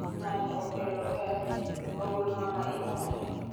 ng'anyo okelo keth, ogul mama imonjo